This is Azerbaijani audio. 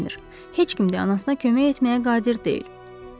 Heç kim də anasına kömək etməyə qadir deyil.